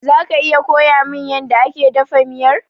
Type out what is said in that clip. Zaka iya koyamin yanda ake dafa miyar?